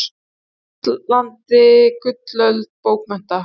Íslandi gullöld bókmennta.